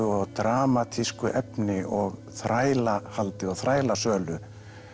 og dramatísku efni og þrælahaldi og þrælasölu